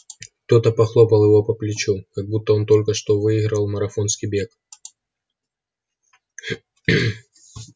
кто-то похлопал его по плечу как будто он только что выиграл марафонский бег